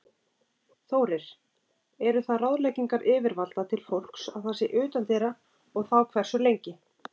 Þórir: Eru það ráðleggingar yfirvalda til fólks að það sé utandyra og þá hversu lengi?